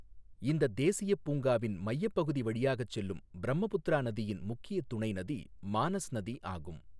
இந்தத் தேசியப் பூங்காவின் மையப்பகுதி வழியாகச் செல்லும் பிரம்மபுத்திரா நதியின் முக்கிய துணை நதி மானஸ் நதி ஆகும்.